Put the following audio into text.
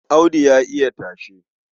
Audu ya iya tashe.